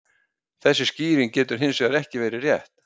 þessi skýring getur hins vegar ekki verið rétt